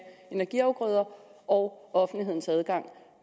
energiafgrøder og offentlighedens adgang